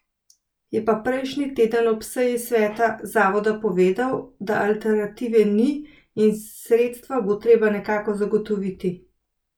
Je pa prejšnji teden ob seji sveta zavoda povedal, da alternative ni in sredstva bo nekako treba zagotoviti.